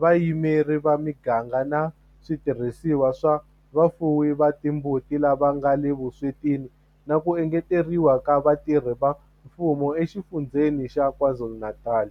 vayimeri va miganga na switirhisiwa swa vafuwi va timbuti lava nga le vuswetini na ku engeteriwa ka vatirhi va mfumo eXifundzheni xa KwaZulu-Natal.